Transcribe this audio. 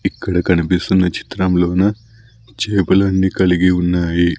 ఇక్కడ కనిపిస్తున్న చిత్రంలోన చేపలన్ని కలిగి ఉన్నాయి.